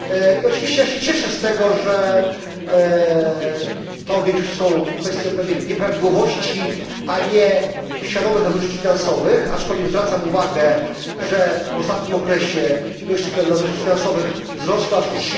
I oczywiście ja się cieszę z tego, że to w większości są kwestie pewnych nieprawidłowości, a nie świadomych nadużyć finansowych, aczkolwiek zwracam uwagę, że w ostatnim okresie ilość nadużyć finansowych wzrosła aż o